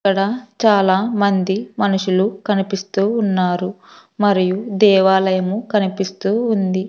అక్కడ చాలా మంది మనుషులు కనిపిస్తూ ఉన్నారు మరియు దేవాలయము కనిపిస్తూ ఉంది.